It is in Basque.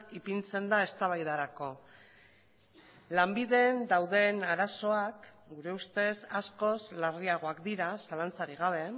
ipintzen da eztabaidarako lanbideen dauden arazoak gure ustez askoz larriagoak dira zalantzarik gabe